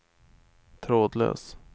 trådlös